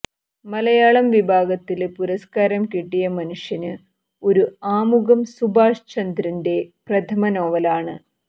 മലയാളം വിഭാഗത്തില് പുരസ്ക്കാരം കിട്ടിയ മനുഷ്യന് ഒരു ആമുഖം സുഭാഷ് ചന്ദ്രന്റെ പ്രഥമ നോവലാണ്